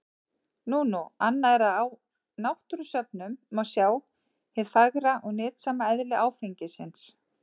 Nú nú, annað er að á náttúrusöfnum má sjá hið fagra og nytsama eðli áfengisins.